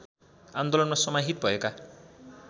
आन्दोलनमा समाहित भएका